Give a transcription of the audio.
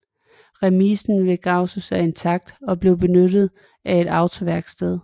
Remisen ved Gausen er intakt og bliver benyttet af et autoværksted